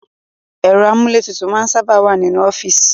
Ẹ̀rọ amúlétutù máa ń sábà wá nínú ọ́fíìsì